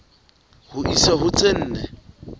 ho isa ho tse nne